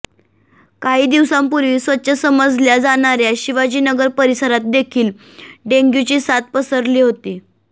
काही दिवसांपूर्वी स्वच्छ समजल्या जाणार्या शिवाजीनगर परिसरात देखील डेंग्यूची साथ पसरली होती